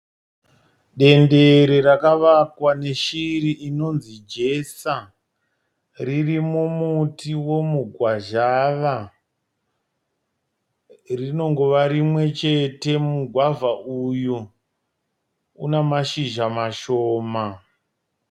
Dendere rakavakwa neshiri inonzi jesa. Ririmumuti womugwazhava. Rinongova rimwe mumugwavha uyu. Una mashizha mashoma.